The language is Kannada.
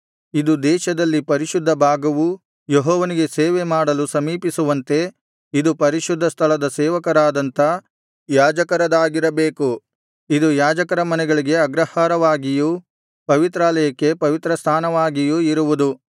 ಇದು ದೇಶದಲ್ಲಿ ಪರಿಶುದ್ಧ ಭಾಗವೂ ಯೆಹೋವನಿಗೆ ಸೇವೆ ಮಾಡಲು ಸಮೀಪಿಸುವಂತೆ ಇದು ಪರಿಶುದ್ಧ ಸ್ಥಳದ ಸೇವಕರಾದಂಥ ಯಾಜಕರದಾಗಿರಬೇಕು ಇದು ಯಾಜಕರ ಮನೆಗಳಿಗೆ ಅಗ್ರಹಾರವಾಗಿಯೂ ಪವಿತ್ರಾಲಯಕ್ಕೆ ಪವಿತ್ರಸ್ಥಾನವಾಗಿಯೂ ಇರುವುದು